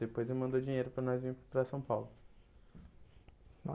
Depois ele mandou dinheiro para nós vir para São Paulo.